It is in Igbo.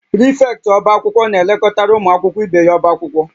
Prịfektị ọbá akwụkwọ na-elekọtara ụmụ akwụkwọ ibe ya ọbá akwụkwọ